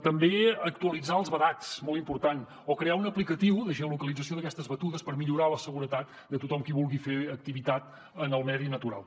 també actualitzar els vedats molt important o crear una apli·cació de geolocalització d’aquestes batudes per millorar la seguretat de tothom qui vulgui fer activitat en el medi natural